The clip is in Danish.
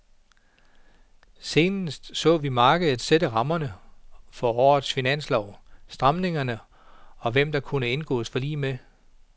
Senest så vi markedet sætte rammerne for årets finanslov, stramningerne og hvem der kunne indgås forlig med.